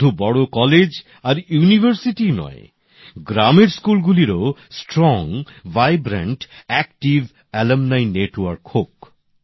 শুধু বড় কলেজ আর ইউনিভার্সিটিই নয় গ্রামের স্কুলগুলিরও দৃঢ় প্রাণবন্ত সক্রিয় প্রাক্তনী নেটওয়ার্ক হোক